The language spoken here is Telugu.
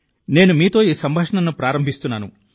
నేను మీతో ఈ సంభాషణను ప్రారంభిస్తున్నాను